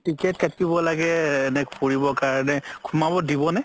ticket কাতিব লাগে নে ফুৰিব কাৰণে সোমাব দিব নে